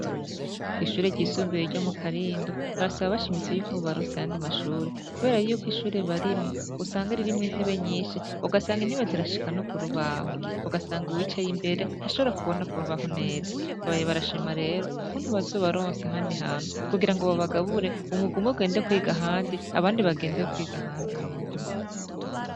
Kw'ishure ryisumbiye ryo mu karindo, barasaba abashimisi yuko babarose ahandi mashure, kubera yuko ishure barimwo usanga ririmwo intebe nyinshi ugasanga intibe zirashika no ku rubaho, ugasanga uwicay' imbere ntashobora kubona ku rubaho neza, babaye barashima rero ukuntu bazobaronse handi hanu kugira ngo babagabure umugume gende kwiga handi abandi bagende kwiga ahandi mundimukwe.